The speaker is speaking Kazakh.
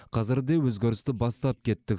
қазір де өзгерісті бастап кеттік